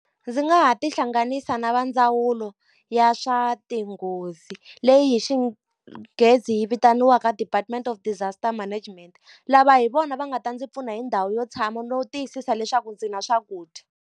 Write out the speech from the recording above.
Ndzi nga ha tihlanganisa na vandzawulo ya swa tinghozi, leyi hi xinghezi vitaniwaka Department of Disaster Management. Lava hi vona va nga ta ndzi pfuna hi ndhawu yo tshama no tiyisisa leswaku ndzi na swakudya.